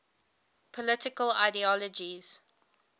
political ideologies